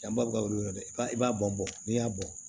Yan baga de don i b'a i b'a bɔn bɔ n'i y'a bɔ